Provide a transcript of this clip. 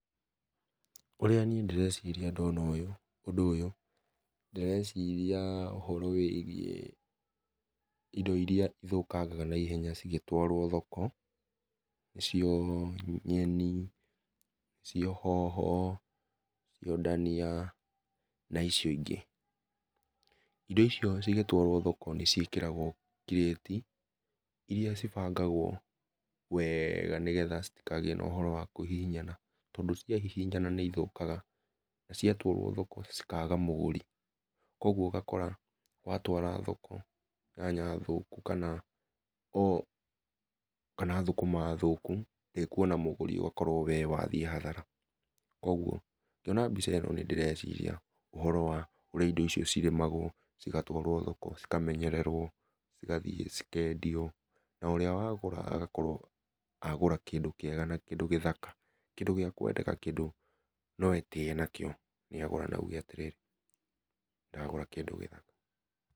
Ũrĩa niĩ ndĩreciria ndona ũyũ, ũndũ ũyũ, ndĩrecirĩa ũhoro wĩgiĩ indo iria cithũkangaga na ihenya cigĩtwarwo thoko, nĩcio nyeni, nĩcio hoho, nicio ndania, na icio ingĩ. Ĩndo icio cigĩtwarwo thoko nĩ ciĩkĩgwo kĩrĩti iria cibangagwo wega nĩ getha citigakorwo na ũhoro wa kũhihinyana tondũ ciahihinyana nĩ ithũkaga na ciatwarwo thoko cikaga mũgũri, kwoguo ũgakora watwara thoko nyanya thũku kana thũkũma thũku ndĩkuona mũgũri ũgakorwo wee wathiĩ hathara. Kũoguo ngĩona mbica ĩno nĩndĩreciria ũhoro wa urĩa indo icio cirĩmagwo cigatwarwo thoko, cikamenyererwo, cigathiĩ cikendio na ũrĩa wagũra agakorwo agũra kĩndũ kĩega, kĩndũ gĩthaka, kĩndũ gĩa kwendeka kĩndũ no etĩye nakĩo nĩagũra na auge atĩrĩ, ndagũra kĩndũ gĩthaka.